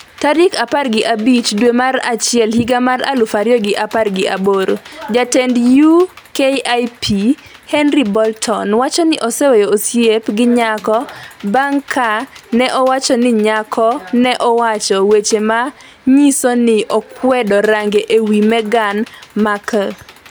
tarik apar gi abich dwe mar achiel higa mar aluf ariyo gi apar gi aboro. Jatend UKIP, Henry Bolton, wacho ni oseweyo osiep gi nyako bang’ ka ne owacho ni nyako ne owacho weche ma nyiso ni okwedo range e wi Meghan Markle.